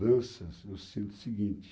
eu sinto o seguinte.